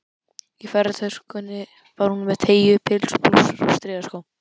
Í ferðatöskunni var hún með teygju- pils, blússur og strigaskó.